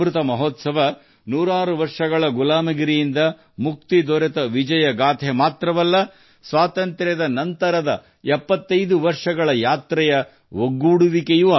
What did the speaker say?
ಅಮೃತ ಮಹೋತ್ಸವವು ನೂರಾರು ವರ್ಷಗಳ ಗುಲಾಮಗಿರಿಯಿಂದ ಸ್ವಾತಂತ್ರ್ಯದ ವಿಜಯದ ಸಾಹಸದ ಕಥನವನ್ನು ಒಳಗೊಂಡಿರುವುದು ಮಾತ್ರವಲ್ಲದೆ ಸ್ವಾತಂತ್ರ್ಯದ ನಂತರದ 75 ವರ್ಷಗಳ ಪ್ರಯಾಣವನ್ನೂ ಒಳಗೊಂಡಿದೆ